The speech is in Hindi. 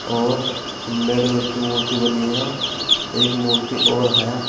और अंबेडकर की मूर्ति बनी है। एक मूर्ति और है।